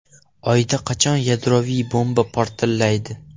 Oyda qachon yadroviy bomba portlaydi?